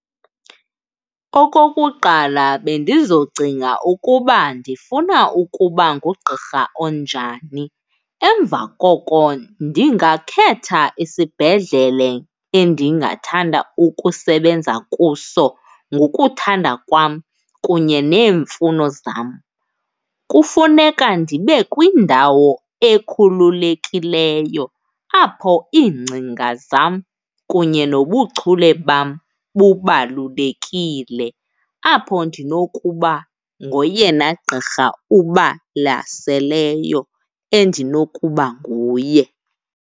Okokuqala bendizocinga ukuba ndifuna ukuba ngugqirha onjani. Emva koko ndingakhetha isibhedlele endingathanda ukusebenza kuso ngokuthanda kwam kunye neemfuno zam. Kufuneka ndibe kwindawo ekhululekileyo apho iingcinga zam kunye nobuchule bam bubalulekile, apho ndinokuba ngoyena gqirha ubalaseleyo endinokuba nguye.